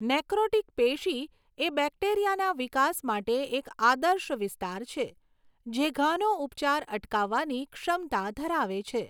Necrotic પેશી એ બેક્ટેરિયાના વિકાસ માટે એક આદર્શ વિસ્તાર છે, જે ઘાનો ઉપચાર અટકાવવાની ક્ષમતા ધરાવે છે.